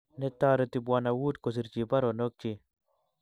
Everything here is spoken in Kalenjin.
Netoreti Bw.Wood kosirchi baronokchi